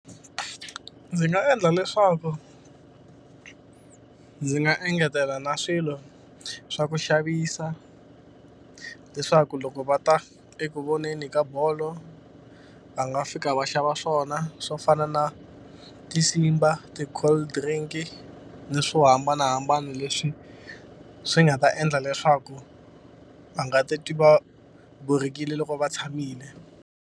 Ndzi nga endla leswaku ndzi nga engetela na swilo swa ku xavisa leswaku loko va ta eku voneni ka bolo, va nga fika va xava swona swo fana na ti-Simba, ti-cold drink-i ni swo hambanahambana leswi swi nga ta endla leswaku va nga titwi va borhekile loko va tshamile.